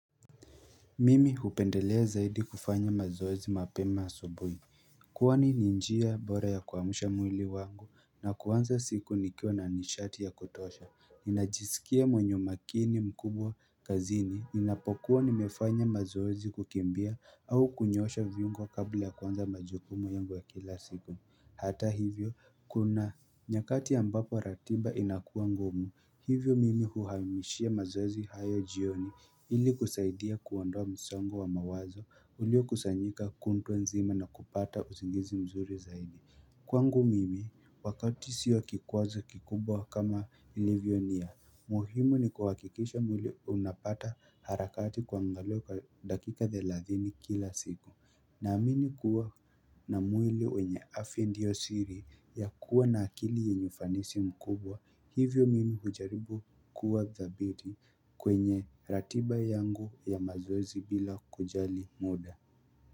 Mimi hupendelea zaidi kufanya mazoezi mapema asubuhi Kwani ni njia bora ya kuamusha mwili wangu na kuanza siku nikiwa na nishati ya kutosha. Ninajisikia mwenye umakini mkubwa kazini ninapokuwa nimefanya mazoezi kukimbia au kunyosha viungo kabla ya kuanza majukumu yangu ya kila siku Hata hivyo, kuna nyakati ambapo ratiba inakuwa ngumu. Hivyo mimi huhamishia mazoezi hayo jioni ili kusaidia kuondoa msongo wa mawazo, ulio kusanyika kutwa nzima na kupata uzingizi mzuri zaidi. Kwangu mimi, wakati sio kikwazo kikubwa kama ilivyo nia, muhimu ni kuhakikisha mwili unapata harakati kuangaliwa kwa dakika thelathini kila siku Naamini kuwa na mwili wenye afya ndiyo siri ya kuwa na akili yenye ufanisi mkubwa, hivyo mimi hujaribu kuwa dhabiti kwenye ratiba yangu ya mazoezi bila kujali muda.